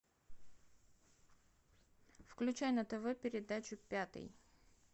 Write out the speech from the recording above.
включай на тв передачу пятый